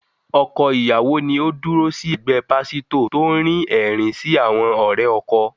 Ọkọ ìyàwó ni Ó dúró sí ẹ̀gbẹ́ pásítò tó ń rín ẹ̀rín sí àwọn ọ̀rẹ́ ọkọ.